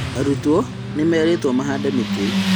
Arutwo nĩmeritwo mahande mĩtĩ